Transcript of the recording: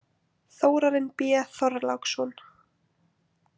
Þórarinn B Þorláksson.